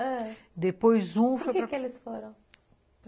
Ãh... Depois um foi para... Por que que eles foram?